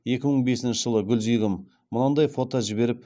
екі мың бесінші жылы гульзигім мынадай фото жіберіп